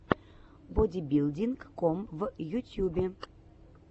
бодибилдинг ком в ютьюбе